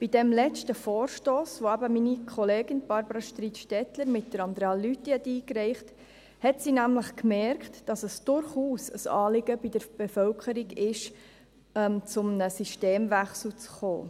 Beim letzten Vorstoss, den meine Kollegin Barbara Streit-Stettler mit Andrea Lüthi einreichte , stellte sie nämlich fest, dass es durchaus ein Anliegen der Bevölkerung ist, zu einem Systemwechsel zu gelangen.